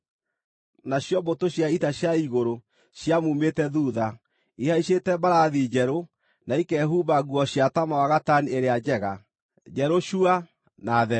Nacio mbũtũ cia ita cia igũrũ ciamuumĩte thuutha, ihaicĩte mbarathi njerũ na ikehumba nguo cia taama wa gatani ĩrĩa njega, njerũ cua na theru.